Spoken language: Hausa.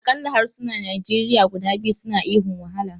Akalla harsunan Nigeria guda biyu suna ihun 'wahala!'